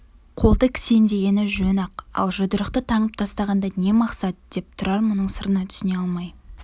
қолды кісендегені жөн-ақ ал жұдырықты таңып тастағанда не мақсат деп тұрар мұның сырына түсіне алмай